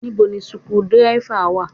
Ibo ni suku dírẹ́fà wa?